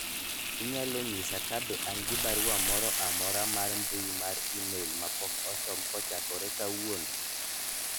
inyalo nyisa kabe an gi barua moroo amora mar mbui mar email mapok osom kochakore kawuono